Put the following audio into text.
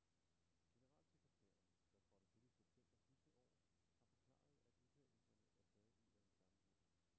Generalsekretæren, der trådte til i september sidste år, har forklaret, at udtalelserne er taget ud af en sammenhæng.